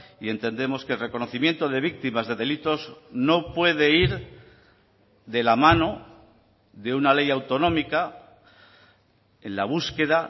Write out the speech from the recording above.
y entendemos que el reconocimiento de víctimas de delitos no puede ir de la mano de una ley autonómica en la búsqueda